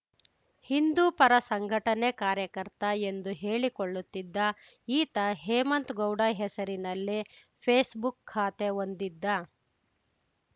ಹಿಂದೂಪರ ಸಂಘಟನೆ ಕಾರ್ಯಕರ್ತ ಎಂದು ಹೇಳಿಕೊಳ್ಳುತ್ತಿದ್ದ ಈತ ಹೇಮಂತ್‌ ಗೌಡ ಹೆಸರಿನಲ್ಲಿ ಫೇಸ್‌ಬುಕ್‌ ಖಾತೆ ಹೊಂದಿದ್ದ